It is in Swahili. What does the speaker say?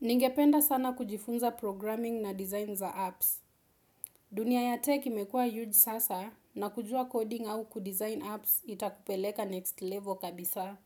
Ningependa sana kujifunza programming na design za apps. Dunia ya tech imekua huge sasa na kujua coding au kudesign apps itakupeleka next level kabisa.